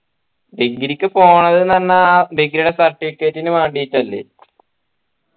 degree ക്കു പോകാ ന്നു പറഞ്ഞാൽ degree ടെ certificate നു വേണ്ടീട്ടല്ലേ